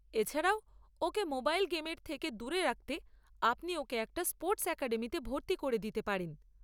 এছাড়াও ওকে মোবাইল গেমের থেকে দূরে রাখতে আপনি ওকে একটা স্পোর্টস অ্যাকাডেমিতে ভর্তি করে দিতে পারেন।